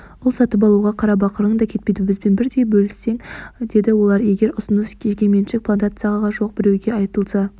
ұл сатып алуға қарабақырың да кетпейді бізбен бірдей бөлісесің деді олар егер бұл ұсыныс жекеменшік плантациясы жоқ біреуге айтылса